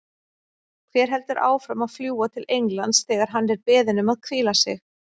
Hver heldur áfram að fljúga til Englands þegar hann er beðinn um að hvíla sig?